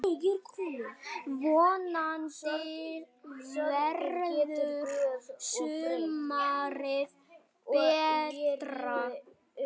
Vonandi verður sumarið betra!